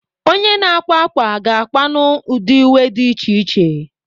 Onye na-akwa ákwà ga-akwanwu ụdị uwe dị iche iche.